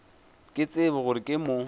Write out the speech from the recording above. ke tsebe gore ke mo